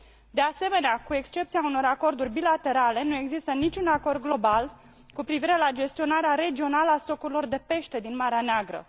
De asemenea, cu excepția unor acorduri bilaterale, nu există niciun acord global cu privire la gestionarea regională a stocurilor de pește din Marea Neagră.